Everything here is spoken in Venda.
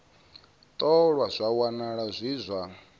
ṱolwa zwa wanala zwi zwa